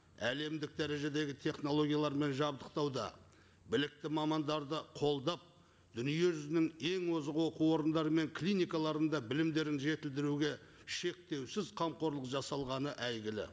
әлемдік дәрежедегі технологиялармен жабдықтауда білікті мамандарды қолдап дүниежүзінің ең озық оқу орыдары мен клиникаларында білімдерін жетілдіруге шектеусіз қамқорлық жасалған әйгілі